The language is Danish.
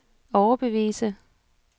overbevise